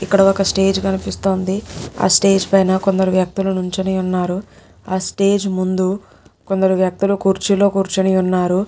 ఇక్కడ ఒక్క స్టేజ్ కనిపిస్తోందిఆ స్టేజ్ పైన కొందరు వ్యక్తులు నుంచొని ఉన్నారు ఆ స్టేజ్ ముందు కొందరు వ్యక్తులు కుర్చీలో కుర్చొని ఉన్నారు.